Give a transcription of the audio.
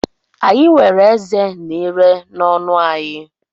Anyị nwere ezé na ire n’ọnụ anyị.